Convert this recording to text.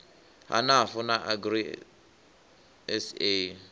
ha nafu na agri sa